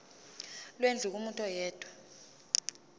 lwendlu kumuntu oyedwa